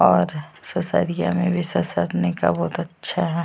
और ससरिया मे भी ससरने का बहुत अच्छा है।